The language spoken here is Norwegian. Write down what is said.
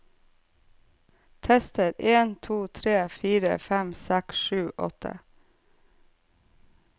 Tester en to tre fire fem seks sju åtte